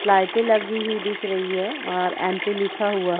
लाइटें लगी हुए दिख रही है और एमपि लिखा हुआ --